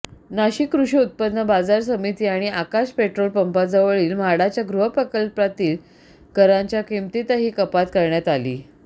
नाशिक कृषी उत्पन्न बाजार समिती आणि आकाश पेट्रोलपंपाजवळील म्हाडाच्या गृहप्रकल्पातील घरांच्या किमतीतही कपात करण्यात आली